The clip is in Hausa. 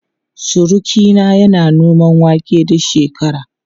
Surukina yana noman wake duk shekara.